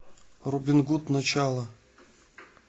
робин гуд начало